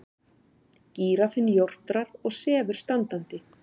Gíraffinn jórtrar og sefur standandi.